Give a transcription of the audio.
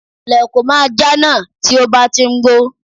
Lèkò mọ́ ajá náà tí ó bá ti ń gbó